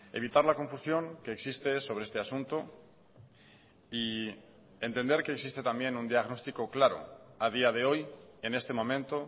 evitar la confusión que existe sobre este asunto y entender que existe también un diagnóstico claro a día de hoy en este momento